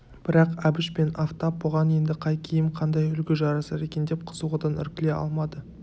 бірақ әбіш пен афтап бұған енді қай киім қандай үлгі жарасар екен деп қызығудан іркіле алмады